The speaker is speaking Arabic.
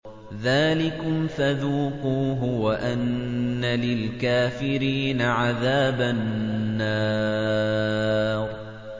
ذَٰلِكُمْ فَذُوقُوهُ وَأَنَّ لِلْكَافِرِينَ عَذَابَ النَّارِ